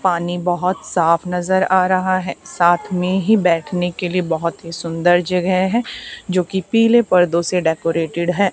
पानी बहुत साफ नजर आ रहा है साथ में ही बैठने के लिए बहुत ही सुंदर जगह है जो कि पीले पर्दों से डेकोरेटेड है।